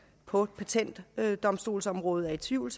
på patentdomstolsområdet er i tvivl